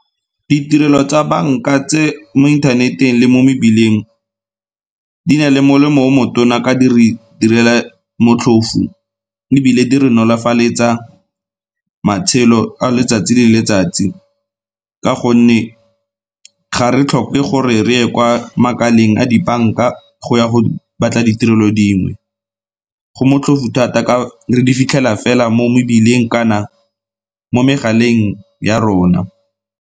Ditirelo tsa banka tse mo inthaneteng le mo mebileng di na le molemo o motona ka di re direla motlhofu ebile di re nolofaletsa matshelo a letsatsi le letsatsi, ka gonne ga re tlhoke gore re ye kwa makaleng a dibanka go ya go batla ditirelo dingwe, go motlhofu thata ka re di fitlhela fela mo mebileng kana mo megaleng ya rona.